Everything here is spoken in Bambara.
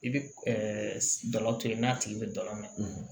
I bɛ dɔla to yen n'a tigi bɛ dalamɛ